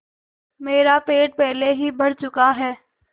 मेरा पेट पहले ही भर चुका है